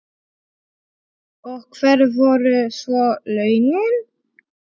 Og hver voru svo launin?